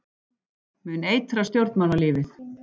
Mun eitra stjórnmálalífið